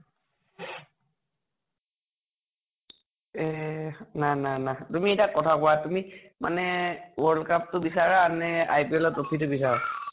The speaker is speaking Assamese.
এহ নাই নাই নাই । তুমি এটা কথা কোৱা তুমি মানে world cup টো বিছাৰা নে IPL ৰ trophy টো বিছৰা?